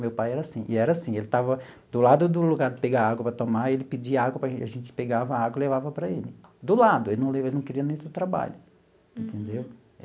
Meu pai era assim, e era assim, ele estava do lado do lugar de pegar água para tomar, ele pedia água, a gente pegava a água e levava para ele, do lado, ele não queria nem ter trabalho, entendeu?